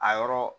A yɔrɔ